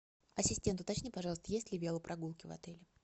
ассистент уточни пожалуйста есть ли велопрогулки в отеле